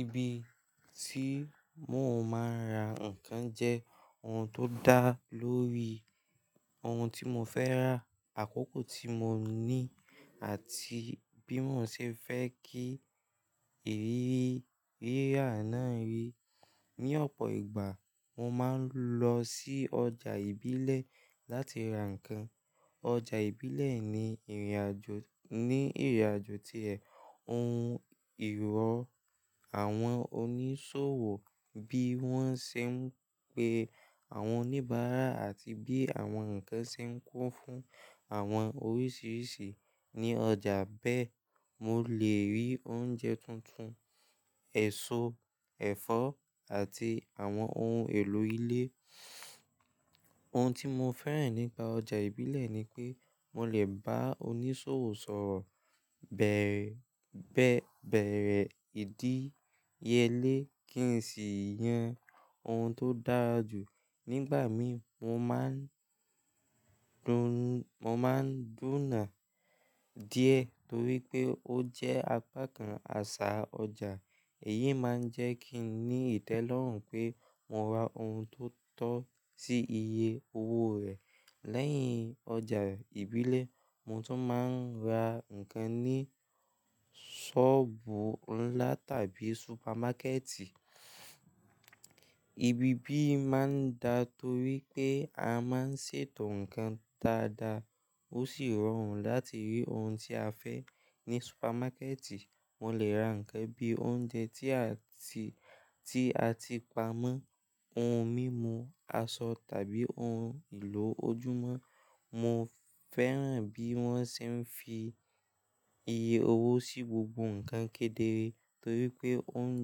Ibi tí mo máa ń ra ǹkan jẹ́ ohun tó dá lórí ohun tí mo fẹ́ rà, àkókò tí mo ní, àti bí mo ṣe fẹ́ kí ìrírí rírà náà rí. Ni ọ̀pọ̀ ìgbà, mo máa ń lọ sí ọjà ìbílẹ̀ láti ra ǹkan. Ọjà ìbílẹ̀ ní ìrìnàjò, ní ìrìnàjò tí ẹ̀, ohun ìrọ̀ àwọn oníṣòwò bí wọ́n ṣe ń pe àwọn oníbàárà àti bí àwọn ǹkan ṣe ń kún fún àwọn oríṣiríṣi. Ní ọjà bẹ́ẹ̀, mo lè rí oúnjẹ tuntun, èso, ẹ̀fọ́, àti àwọn ohun èlò ilé. Ohun tí mo fẹ́ràn nípa ọjà ìbílẹ̀ ni pé mo lè bá oníṣòwò sọ̀rọ̀ beere,, beere ìdíyelé kí n sì yan ohun tó dára jù. Nígbà mì, mo máa ń duna, mo máa ń dúnà díẹ̀ torí pé ó jẹ́ apá kan àṣà ọjà. Èyí máa ń jẹ́ kí n ní ìtẹ́lọ́rùn pé mo ra ohun tó tọ́ sí iye owó rẹ̀. Lẹ́yìn ọjà ìbílẹ̀, mo tún máa ń ra ǹkan ní ṣọ́ọ̀bù ńlá tàbí supermákẹ̀ẹ̀tì. Ibi bíì máa ń da torí pé a máa ń ṣètò ǹkan dáadáa, ó sì rọrùn láti rí ohun tí a fẹ́. Ní supermákẹ̀ẹ̀tì, mo lè ra ǹkan bí i oúnjẹ tí a ti, tí a ti pamọ́, ohun mímu, aṣọ tàbí ohun èlò ojúmọ́. Mo fẹ́ràn bí wọ́n ṣe ń fi iye owó sí gbogbo ǹkan kedere torí pé ó ń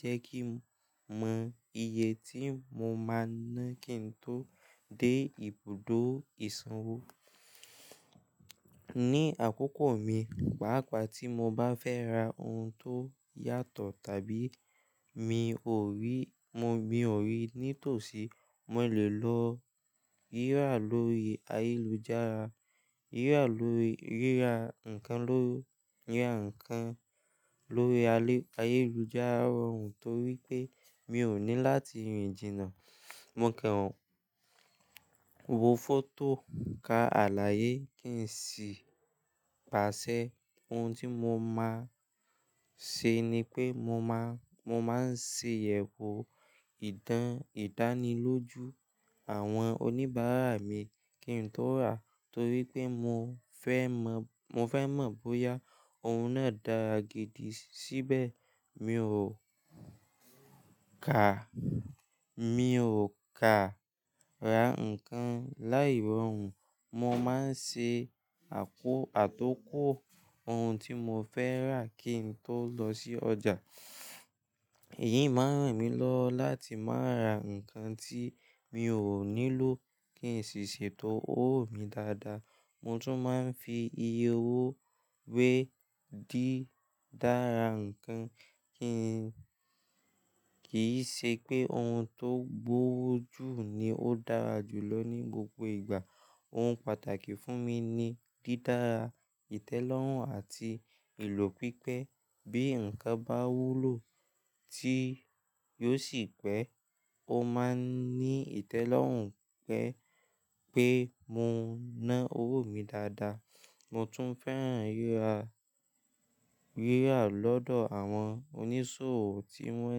jẹ́ kí mọ ìyè tí mo máa ná kí n tó dé ibùdó ìsanwó. Ní àkókò mi, pàápàá tí mo bá fẹ́ ra ohun tó yàtọ̀ tàbí mi ò ri, mo bí ò ri, nítòsí, mo lè lọ rírà lórí ayélujára. Rírà lórí, rírà ǹkan lórí, rírà ǹkan lórí ayélujára rọrùn torí pé mi ò ní láti rìn jìnà. Mo kàn wò fọ́tò ka àlàyé kí n sì pàṣẹ. Ohun tí mo máa ṣe ni pé mo máa, mo máa ń ṣe iyẹ̀wò ìdán, ìdánilójú àwọn oníbàárà mi kí n tó rà torí pé mo fẹ́ mọ̀, mo fẹ́ mọ̀ bóyá ohun náà dára gidi síbẹ̀. Mi ò kà, mi ò kàn ra ǹkan láì rọrùn. Mo máa ń ṣe àkó, àtókò ohun tí mo fẹ́ rà kí n tó lọ sí ọjà. Èyí máa ń ràn mí lọ láti má ra ǹkan tí mi ò nílò kí n sì ṣètò owó mi dáadáa. Mo tún máa ń fi iye owó wé ki dára nnkan kí n, kì í ṣe pé ohun tó gbówó jù ni ó dára jù lọ ní gbogbo ìgbà. Ohun pàtàkì fún mi ni dídára ìtẹ́lọ́rùn àti ìlò pipẹ́. Bí nnkan bá wúlò tí yóò sì pẹ́, ó máa ń ní ìtẹ́lọ́rùn pé, pé mo ná owó mi dáadáa. Mo tún fẹ́ràn rírà, rírà lọ́dọ̀ àwọn oníṣòwò tí wọ́n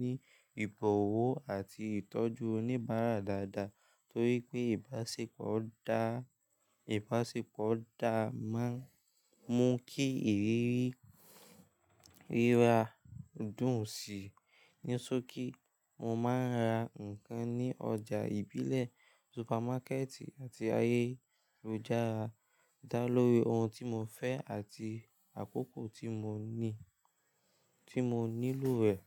ní ìbọ̀wọ̀ àti ìtọ́jú oníbàárà dáadáa torí pé ìbáṣepọ̀ dá, ìbáṣepọ̀ dáa máa ń mú kí ìrírí rírà dùn sí. Ni sóòkì, mo máa ń ra nnkan ní ọjà ìbílẹ̀, supermákẹ̀ẹ̀tì àti ayélujára dá lórí ohun tí mo fẹ́ àti àkókò tí mo ní, tí mo nílò rẹ̀.